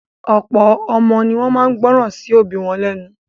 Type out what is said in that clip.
Ọ̀pọ̀ ọmọ ní wọ́n máa ń gbọ́ràn sí òbí wọn lẹ́nu.